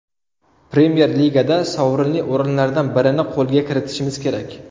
Premyer-ligada sovrinli o‘rinlardan birini qo‘lga kiritishimiz kerak.